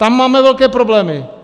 Tam máme velké problémy.